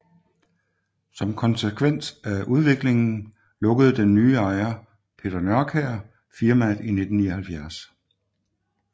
Som konkvens af udviklingen lukkede den nye ejer Peter Nørkjær firmaet i 1979